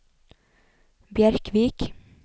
Bjerkvik